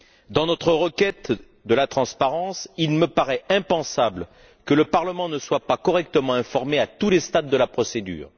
Dans notre quête de la transparence, il me paraît impensable que le Parlement ne soit pas correctement informé, à tous les stades de la procédure.